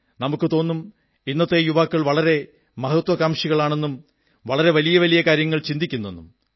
നമുക്കു തോന്നും ഇന്നത്തെ യുവാക്കൾ വളരെ മഹത്വാകാംക്ഷികളാണെന്നും വളരെ വലിയ വലിയ കാര്യങ്ങൾ ചിന്തിക്കുന്നെന്നും